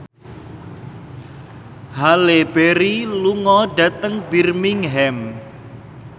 Halle Berry lunga dhateng Birmingham